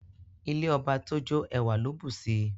Ilé ọba tójó ẹwà ló bùsi